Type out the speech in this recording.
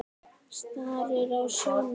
Starir á sjóinn.